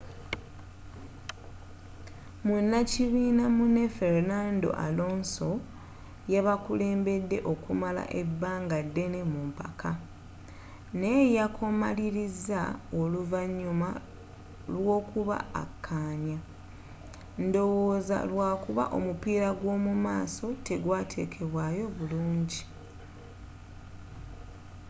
munakibiina munne fernando alonso yabakulembedde okumala ebanga ddene mu mpaka naye yakomaliriza oluvanyuma lwokuba akanya ndowooza lwakuba omupiira gw'omumaaso tegwateekebwaayo bulungi